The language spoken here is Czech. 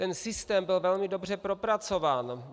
Ten systém byl velmi dobře propracován.